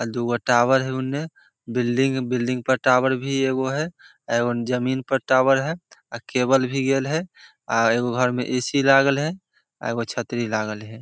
आ दुगो टॉवर हई उन्ने बिल्डिंग बिल्डिंग पे टॉवर एगो है एगो जमीन पे टॉवर है आ केबल भी गाएल है आ एगो घर में ए.सी. लागल है आ छतरी लागल है।